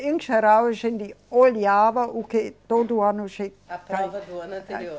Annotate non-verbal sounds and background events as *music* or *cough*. Em geral, a gente olhava o que todo ano. *unintelligible* A prova do ano anterior.